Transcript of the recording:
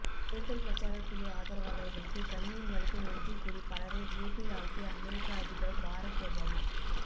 தேர்தல் பிரச்சாரக் குழு ஆதரவாளர்களுக்கு கண்ணீர் மல்க நன்றி கூறி பலரை வியப்பில் ஆழ்த்திய அமெரிக்க அதிபர் பாரக் ஒபாமா